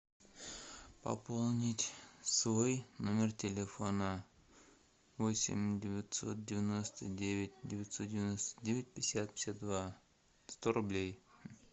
пополнить свой номер телефона восемь девятьсот девяносто девять девятьсот девяносто девять пятьдесят пятьдесят два сто рублей